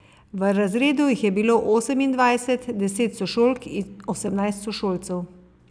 V razredu jih je bilo osemindvajset, deset sošolk in osemnajst sošolcev.